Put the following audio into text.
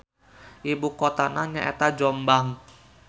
Ibukotana nyaeta Jombang.